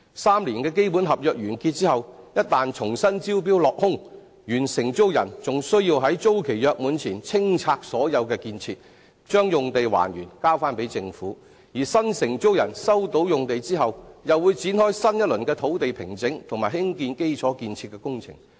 三年的基本合約完結後，一旦重新招標落空，原承租人還需在租期約滿前清拆所有建設，將用地還原交還給政府；而新承租人收到用地後，便會展開新一輪的土地平整及興建基礎建設的工程。